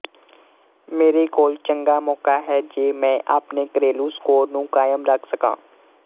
ਮੇਰੇ ਕੋਲ ਚੰਗਾ ਮੌਕਾ ਹੈ ਜੇ ਮੈਂ ਆਪਣੇ ਘਰੇਲੂ ਸਕੋਰ ਨੂੰ ਕਾਇਮ ਰੱਖ ਸਕਾਂ